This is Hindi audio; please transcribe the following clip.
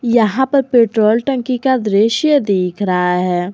यहां पर पेट्रोल टंकी का दृश्य दिख रहा है।